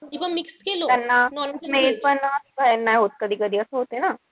त्यांना smell सहन नाई होत कधीकधी असं होत ना.